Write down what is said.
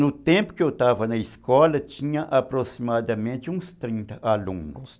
No tempo que eu estava na escola, tinha aproximadamente uns trinta alunos.